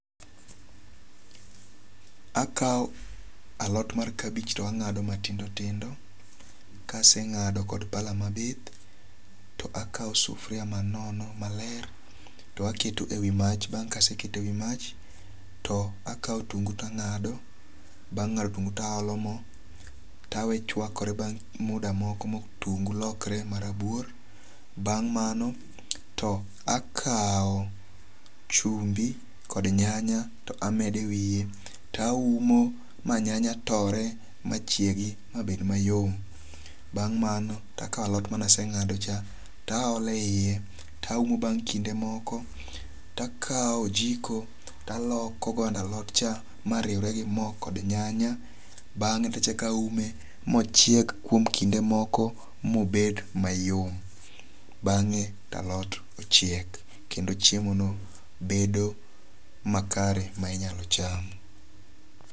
Akaw alot mar kabich to ang'ado matindo tindo. Ka aseng'ado kod pala mabith, to akaw sufria man nono maler to aketo e wi mach. Bang' ka aseketo e wi mach to akaw otungu to ang'ado. Bang ng'ado otungu to a olo mo. To awe chwakre bang' muda motungu lokre ma rabuor. Bang' mano to akaw chumbi kod nyanya to amede wiye. To aumo ma nyanya tore ma chiegi ma bed mayom. Bang' mano to akaw alot mane aseng'ado cha to a ole yie. To aumo bang' kinde moko to akaw ojiko to aloko godo alot cha mariwre gi mo kod nyanya. Bang'e to achako aume mochiek kuom kinde moko mobed mayom. Bang'e to alot ochiek kendo chiemo no bedo makare ma inyalo cham